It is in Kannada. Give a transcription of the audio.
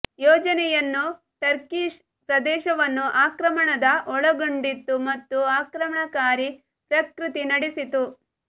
ಯೋಜನೆಯನ್ನು ಟರ್ಕಿಷ್ ಪ್ರದೇಶವನ್ನು ಆಕ್ರಮಣದ ಒಳಗೊಂಡಿತ್ತು ಮತ್ತು ಆಕ್ರಮಣಕಾರಿ ಪ್ರಕೃತಿ ನಡೆಸಿತು